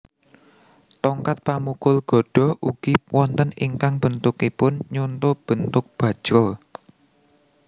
Tongkat pamukul gada ugi wonten ingkang bentukipun nyonto bentuk bajra